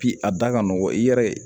Bi a da ka nɔgɔn i yɛrɛ